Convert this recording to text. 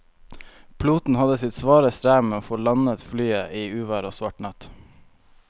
Piloten hadde sitt svare strev med å få landet flyet i uvær og svart natt.